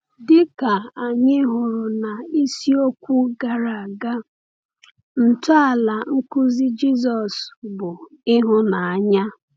Dịka anyị hụrụ n’isiokwu gara aga, ntọala nkuzi Jisọs bụ ịhụnanya.